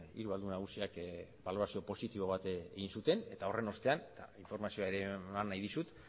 hiru aldun nagusiak balorazio positibo bat egin zuten eta horren ostean informazioa ere eman nahi dizut